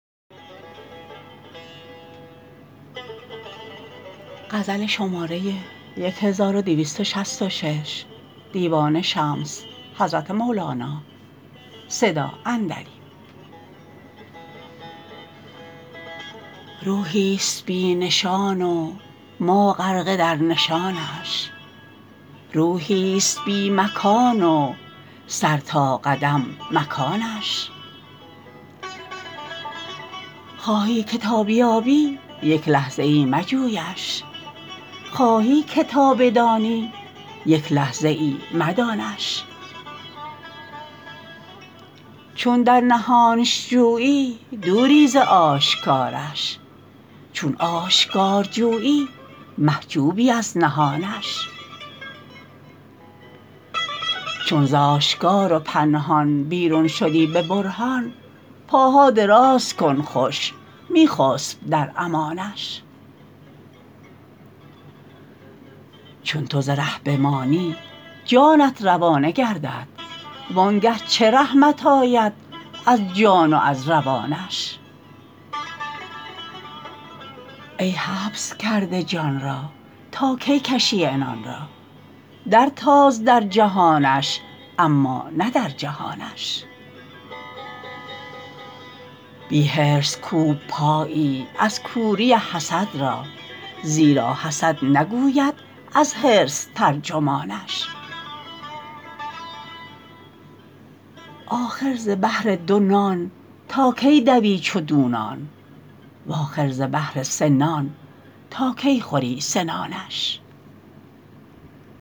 روحیست بی نشان و ما غرقه در نشانش روحیست بی مکان و سر تا قدم مکانش خواهی که تا بیابی یک لحظه ای مجویش خواهی که تا بدانی یک لحظه ای مدانش چون در نهانش جویی دوری ز آشکارش چون آشکار جویی محجوبی از نهانش چون ز آشکار و پنهان بیرون شدی به برهان پاها دراز کن خوش می خسب در امانش چون تو ز ره بمانی جانی روانه گردد وانگه چه رحمت آید از جان و از روانش ای حبس کرده جان را تا کی کشی عنان را درتاز درجهانش اما نه در جهانش بی حرص کوب پایی از کوری حسد را زیرا حسد نگوید از حرص ترجمانش آخر ز بهر دو نان تا کی دوی چو دونان و آخر ز بهر سه نان تا کی خوری سنانش